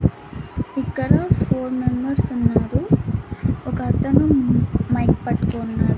ఇక్కడ four members ఉన్నారు ఒక అతను మైక్ పట్టుకొని ఉన్నాడు.